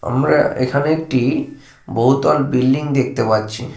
আমরা এখানে একটি বহুতল বিল্ডিং দেখতে পাচ্ছি।